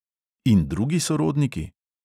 In drugi sorodniki?